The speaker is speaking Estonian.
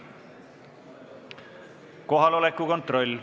Kohaloleku kontroll.